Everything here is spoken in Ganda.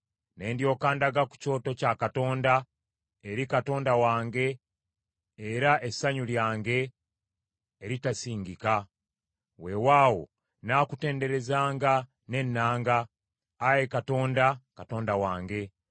Ne ndyoka ndaga ku kyoto kya Katonda, eri Katonda wange era essanyu lyange eritasingika. Weewaawo nnaakutenderezanga n’ennanga, Ayi Katonda, Katonda wange.